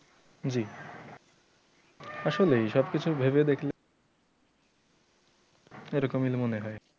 জি আসলেই সব কিছু ভাবে দেখলে এরকমই মনে হয়।